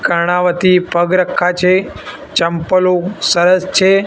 કર્ણાવતી પગ રખ્ખા છે ચંપલો સરસ છે.